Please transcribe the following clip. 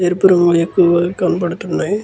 ఎరుపు రంగులు ఎక్కువగా కనపడుతున్నాయి.